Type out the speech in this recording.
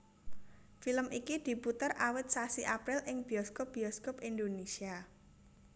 Film iki diputer awit sasi April ing bioskop bioskop Indonesia